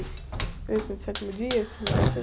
Igreja de Sétimo Dia, esse negócio aí?